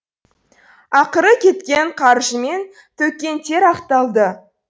ақыры кеткен қаржы мен төккен тер ақталды